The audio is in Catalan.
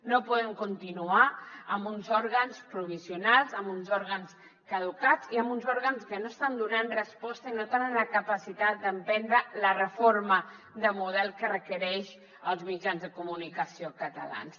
no podem continuar amb uns òrgans provisionals amb uns òrgans caducats i amb uns òrgans que no estan donant resposta i no tenen la capacitat d’emprendre la reforma de model que requereixen els mitjans de comunicació catalans